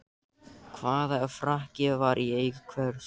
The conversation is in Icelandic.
Hvaða frakki var í eigu hvers?